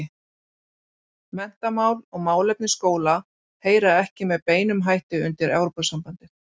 Menntamál og málefni skóla heyra ekki með beinum hætti undir Evrópusambandið.